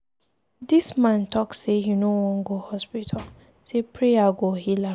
The man talk say he no wan go hospital, say prayer go heal am.